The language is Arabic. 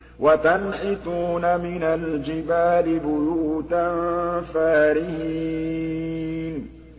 وَتَنْحِتُونَ مِنَ الْجِبَالِ بُيُوتًا فَارِهِينَ